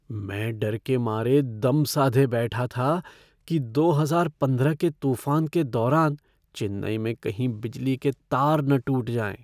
मैं डर के मारे दम साधे बैठा था कि दो हजार पंद्रह के तूफ़ान के दौरान चेन्नई में कहीं बिजली के तार न टूट जाएँ।